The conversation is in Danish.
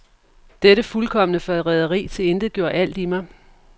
Dette fuldkomne forræderi tilintetgjorde alt i mig.